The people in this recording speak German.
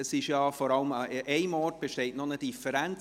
Es besteht ja vor allem an einer Stelle noch eine Differenz;